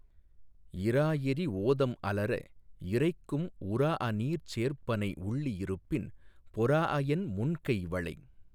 இறாஎறி ஓதம் அலற இரைக்கும் உறாஅநீர்ச் சேர்ப்பனை உள்ளி இருப்பின் பொறாஅஎன் முன்கை வளை